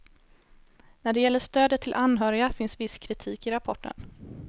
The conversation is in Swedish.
När det gäller stödet till anhöriga finns viss kritik i rapporten.